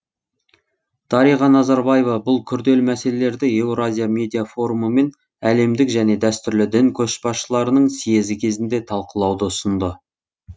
дариға назарбаева бұл күрделі мәселелерді еуразия медиа форумы мен әлемдік және дәстүрлі дін көшбасшыларының съезі кезінде талқылауды ұсынды